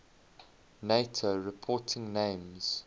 nato reporting names